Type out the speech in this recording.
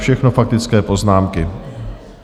Všechno faktické poznámky.